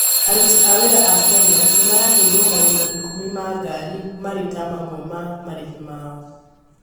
Aruti a wĩra a Kenya nĩmaraheirwo magũrũ ikumĩ ma ngari marĩ ta mamwe ma marĩhi mao